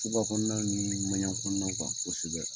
Tuba kɔnɔna ni ɲanya kɔnɔnaw kan kosɛbɛ.